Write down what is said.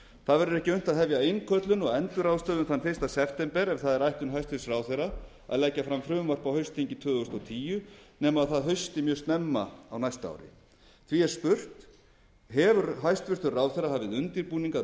það verður ekki unnt að hefja innköllun og endurráðstöfun þann fyrsta september ef það er ætlun hæstvirtur ráðherra að leggja fram frumvarp á haustþingi tvö þúsund og tíu nema það hausti mjög snemma á næsta ári því er spurt hefur ráðherra hafið undirbúning að